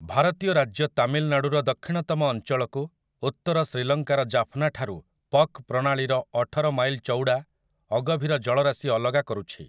ଭାରତୀୟ ରାଜ୍ୟ ତାମିଲନାଡୁର ଦକ୍ଷିଣତମ ଅଞ୍ଚଳକୁ ଉତ୍ତର ଶ୍ରୀଲଙ୍କାର ଜାଫ୍ନା ଠାରୁ ପକ୍ ପ୍ରଣାଳୀର ଅଠର ମାଇଲ୍ ଚଉଡ଼ା ଅଗଭୀର ଜଳରାଶି ଅଲଗା କରୁଛି ।